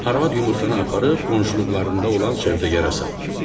Arvad yumurtanı aparıb qonşuluqlarında olan sövdəgara satdım.